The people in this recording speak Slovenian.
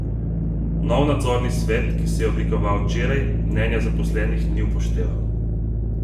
Novi nadzorni svet, ki se je oblikoval včeraj, mnenja zaposlenih ni upošteval.